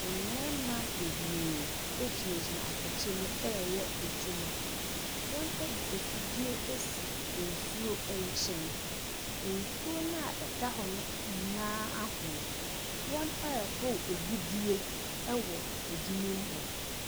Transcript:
Mmarima bebree gyinagyina atɛkyɛ mu reyɛ adwuma. Wɔde afidie asi nsuo nkyɛn. Nsuo no a ɛda hɔ no nyinaa ahono. Wɔrehoro agudeɛ wɔ adwuma mu hɔ.